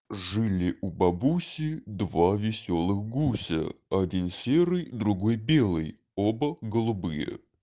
жили у бабуси два весёлых гуся один серый другой белый оба голубые